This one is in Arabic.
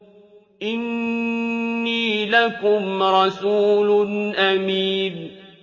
إِنِّي لَكُمْ رَسُولٌ أَمِينٌ